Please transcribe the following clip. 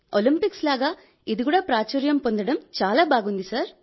Olympics లాగా ఇది కూడా ప్రాచుర్యం పొందడం చాలా బాగుంది సార్